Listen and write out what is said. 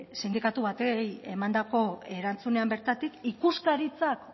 sindikatu bati emandako erantzunean bertatik ikuskaritzak